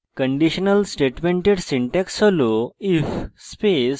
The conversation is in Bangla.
কন্ডিশনাল স্টেটমেন্টের syntax হল :